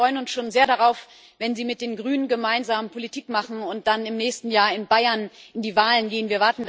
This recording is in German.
Herr Weber, wir freuen uns schon sehr darauf, wenn Sie mit den Grünen gemeinsam Politik machen und dann im nächsten Jahr in Bayern in die Wahlen gehen.